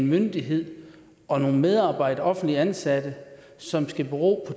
myndighed og nogle medarbejdere offentligt ansatte som skal bero